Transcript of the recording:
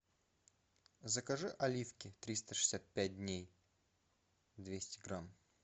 закажи оливки триста шестьдесят пять дней двести грамм